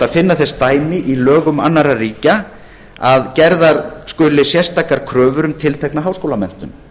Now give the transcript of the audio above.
að finna þess dæmi í lögum annarra ríkja að gerðar skuli sérstakar kröfur um tiltekna háskólamenntun